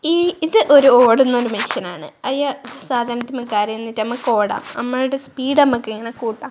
ഈ ഇത് ഒരു ഓടുന്ന ഒരു മെഷീൻ ആണ് അയ സാധനത്തിന്മേൽ കേറി നിന്നിട്ട് നമ്മക്ക് ഇങ്ങനെ ഓടാം നമ്മൾടെ സ്പീഡ് നമ്മക്ക് ഇങ്ങനെ കൂട്ടാം.